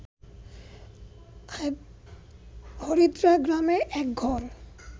হরিদ্রাগ্রামে এক ঘর